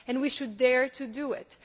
We should dare to do it.